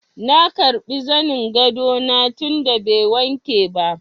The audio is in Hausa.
Na karbi zanin gado na tun da bai wanke ba.